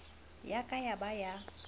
ya ka ya ba ya